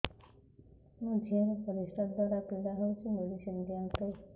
ମୋ ଝିଅ ର ପରିସ୍ରା ଦ୍ଵାର ପୀଡା ହଉଚି ମେଡିସିନ ଦିଅନ୍ତୁ